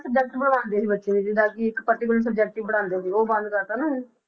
Subject ਪੜ੍ਹਾਉਂਦੇ ਸੀ ਬੱਚੇ ਨੂੰ, ਜਿੱਦਾਂ ਕਿ ਇੱਕ particular subject ਹੀ ਪੜ੍ਹਾਉਂਦੇ ਸੀ ਉਹ ਬੰਦ ਕਰ ਦਿੱਤਾ ਨਾ ਹੁਣ,